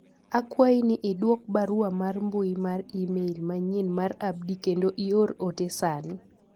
akwayi ni idwok barua mar mbui mar email manyien mar Abdi kendo ior ote sani